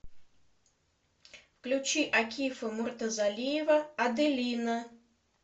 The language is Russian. включи акифа муртазалиева аделина